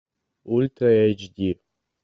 ультра эйч ди